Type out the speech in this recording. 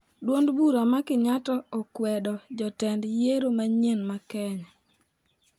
Duond bura mar Kenyatta kwedo jotend yiero manyien ma Kenya